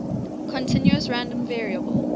continuous random variable